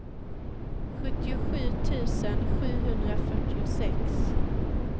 sjuttiosju tusen sjuhundrafyrtiosex